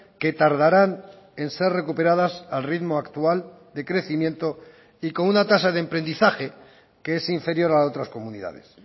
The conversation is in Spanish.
que tardarán en ser recuperadas al ritmo actual de crecimiento y con una tasa de emprendizaje que es inferior a otras comunidades